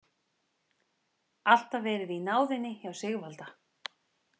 Alltaf verið í náðinni hjá Sigvalda.